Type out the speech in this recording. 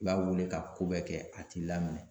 I b'a wele ka ko bɛɛ kɛ a t'i laminɛ.